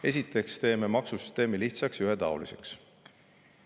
Esiteks teeme maksusüsteemi lihtsaks ja ühetaoliseks.